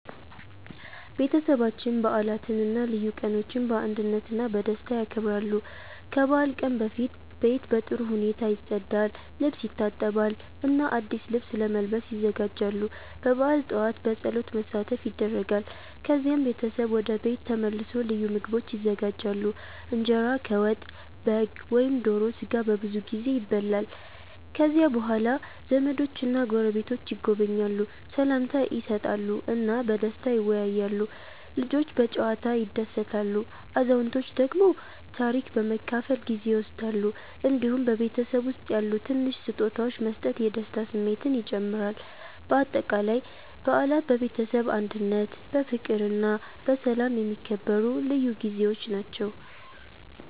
ቤተሰባችን በዓላትን እና ልዩ ቀኖችን በአንድነት እና በደስታ ያከብራል። ከበዓል ቀን በፊት ቤት በጥሩ ሁኔታ ይጸዳል፣ ልብስ ይታጠባል እና አዲስ ልብስ ለመልበስ ይዘጋጃሉ። በበዓል ጠዋት በጸሎት መሳተፍ ይደረጋል፣ ከዚያም ቤተሰብ ወደ ቤት ተመልሶ ልዩ ምግቦች ይዘጋጃሉ። እንጀራ ከወጥ፣ በግ ወይም ዶሮ ስጋ በብዙ ጊዜ ይበላል። ከዚያ በኋላ ዘመዶችና ጎረቤቶች ይጎበኛሉ፣ ሰላምታ ይሰጣሉ እና በደስታ ይወያያሉ። ልጆች በጨዋታ ይደሰታሉ፣ አዛውንቶች ደግሞ ታሪክ በመካፈል ጊዜ ይወስዳሉ። እንዲሁም በቤተሰብ ውስጥ ያሉ ትንሽ ስጦታዎች መስጠት የደስታ ስሜትን ይጨምራል። በአጠቃላይ በዓላት በቤተሰብ አንድነት፣ በፍቅር እና በሰላም የሚከበሩ ልዩ ጊዜዎች ናቸው።